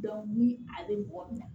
ni a bɛ mɔgɔ minɛ